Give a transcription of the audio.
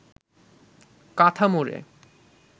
কাঁথা মুড়ে